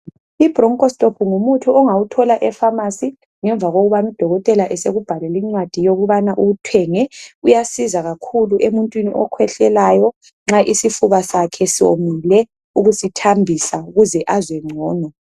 I broncho stop ngumuthi ongawuthola epharmarcy ngemva kokubana udokotela esekubhalelel incwadi yokubana uwuthemge kuyasiza kakhulu emuntwini okhwehlelayo nxa isifuba asakhe somile ukusithambisa ukuze azwe ngcono